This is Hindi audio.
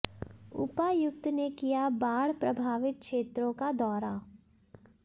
उपायुक्त ने किया बाढ़ प्रभावित क्षेत्रों का दौरा